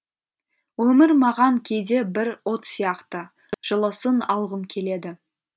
өмір маған кейде бір от сияқты жылысын алғым келеді